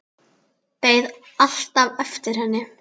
Beið alltaf eftir henni.